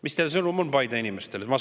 Mis teie sõnum on Paide inimestele?